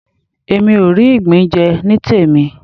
Èmi ò rí ìgbín jẹ nítèmí.